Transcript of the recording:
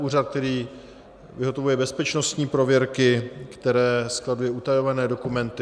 Úřad, který vyhotovuje bezpečnostní prověrky, který skladuje utajované dokumenty.